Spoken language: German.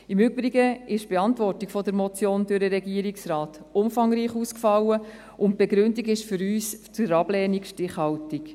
Im Übrigen ist die Beantwortung der Motion durch den Regierungsrat umfangreich ausgefallen, und die Begründung für die Ablehnung ist für uns stichhaltig.